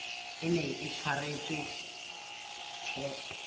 e neng e tshwaretswe the